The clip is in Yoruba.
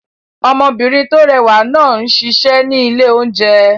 Ọmọbìnrin tó rẹwà náà ń ṣiṣẹ́ ní ilé-oúnjẹ